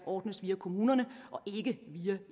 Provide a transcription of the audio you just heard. ordnes via kommunerne og ikke via